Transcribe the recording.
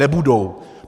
Nebudou.